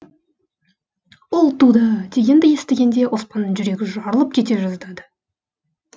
ұл туды дегенді естігенде оспанның жүрегі жарылып кете жаздады